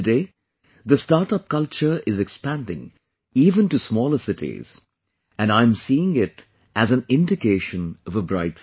Today, the startup culture is expanding even to smaller cities and I am seeing it as an indication of a bright future